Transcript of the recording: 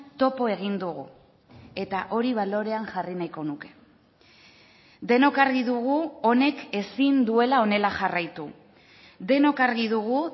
topo egin dugu eta hori balorean jarri nahiko nuke denok argi dugu honek ezin duela honela jarraitu denok argi dugu